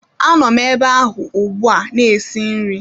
Anom ebe ahụ ugbua na-esi nri